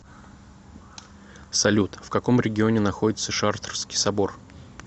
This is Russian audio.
салют в каком регионе находится шартрский собор